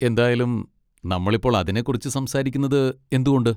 എന്തായാലും, നമ്മൾ ഇപ്പോൾ അതിനെക്കുറിച്ച് സംസാരിക്കുന്നത് എന്തുകൊണ്ട്?